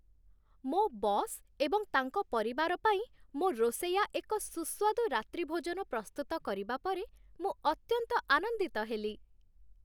ମୋ ବସ୍ ଏବଂ ତାଙ୍କ ପରିବାର ପାଇଁ ମୋ ରୋଷେୟା ଏକ ସୁସ୍ୱାଦୁ ରାତ୍ରିଭୋଜନ ପ୍ରସ୍ତୁତ କରିବା ପରେ ମୁଁ ଅତ୍ୟନ୍ତ ଆନନ୍ଦିତ ହେଲି।